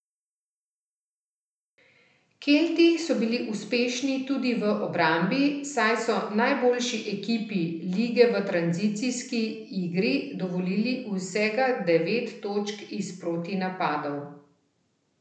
Kelti so bili uspešni tudi v obrambi, saj so najboljši ekipi lige v tranzicijski igri dovolili vsega devet točk iz protinapadov.